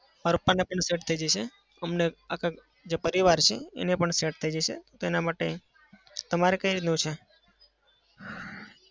મારા પપ્પાને પેલું set અમને આખા જે પરિવાર છે એને પણ set થઇ જશે તેના માટે. તમારે કઈ રીતનું છે?